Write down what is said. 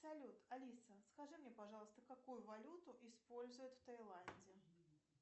салют алиса скажи мне пожалуйста какую валюту используют в тайланде